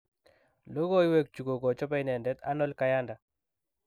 Logoiwek chu kokochobe inendet Arnold Kayanda.